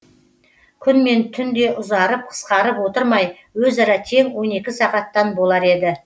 күн мен түн де ұзарып қысқарып отырмай өзара тең он екі сағаттан болар еді